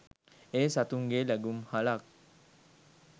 එය සතුන්ගේ ලැගුම්හලක්